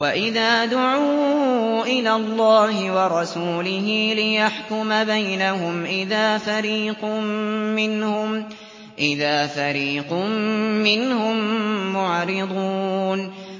وَإِذَا دُعُوا إِلَى اللَّهِ وَرَسُولِهِ لِيَحْكُمَ بَيْنَهُمْ إِذَا فَرِيقٌ مِّنْهُم مُّعْرِضُونَ